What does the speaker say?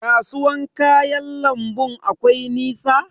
Kasuwan kayan lambun akwai nisa?